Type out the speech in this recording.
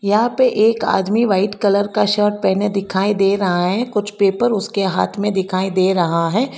यहां पे एक आदमी व्हाइट कलर का शर्ट पहने दिखाई दे रहा है कुछ पेपर उसके हाथ में दिखाई दे रहा है।